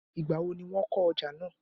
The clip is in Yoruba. igbawo ni won oja naa?